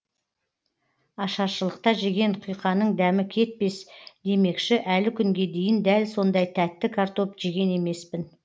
ашаршылықта жеген құйқаның дәмі кетпес демекші әлі күнге дейін дәл сондай тәтті картоп жеген емеспін